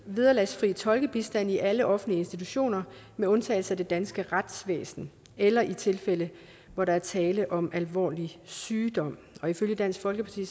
vederlagsfri tolkebistand i alle offentlige institutioner med undtagelse af det danske retsvæsen eller i tilfælde hvor der er tale om alvorlig sygdom ifølge dansk folkeparti